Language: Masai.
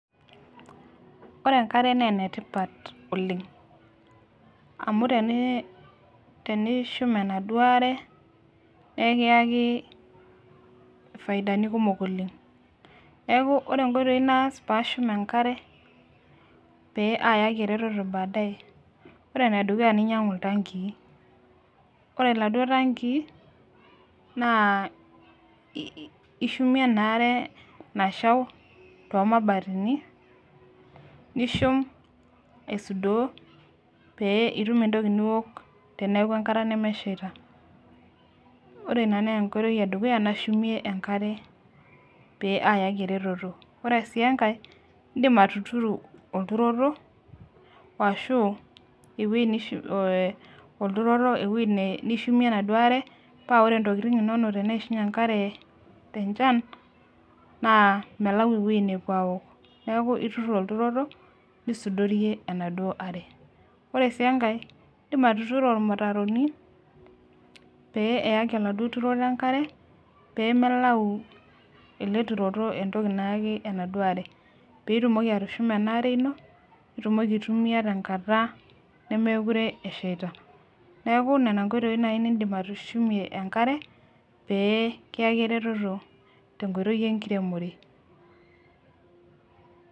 Ore enkare naa enetipat oleng amu tene tenishum enaduo are nee ekiyaki ifaidani kumok oleng neku inkoitoi naas paashum enkare pee ayaki eretoto baadaye ore enedukuya nainyiang'u iltankii ore iladuo tankii naa ishumie ena are nashau tomabatini nishum aisudoo pee itum entoki niwok teneeku enkata nemeshaita ore ina naa enkoitoi edukuya nashumie enkare pee ayaki eretoto ore sii enkae indim atuturo olturo woashu ewueji nishu eh olturoto ewuei ne nishumie enaduo are paa ore intokiting inonok teneishunye enkare tenchan naa melau ewueji nepuo awok neeku iturr olturoto nisudorie enaduo are ore sii enkae indim atuturo irmutaroni pee eyaki oladuo turoto enkare pemelau ele turoto entoki nayaki enaduo are peitumoki atushuma ena are ino nitumoki aitumia tenkata nemekure eshaita neku nena inkoitoi naaji nindim atushumie enkare pee kiyaki eretoto tenkoitoi enkiremore.